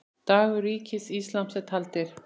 Dagar Ríkis íslams eru taldir.